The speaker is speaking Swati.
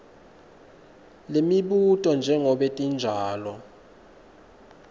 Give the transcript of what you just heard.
lemibuto njengobe tinjalo